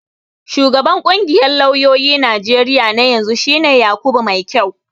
Shugaban ƙungiyar lauyoyin Najeriya na yanzu shi ne Yakubu Maikyau.